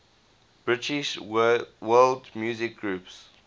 british world music groups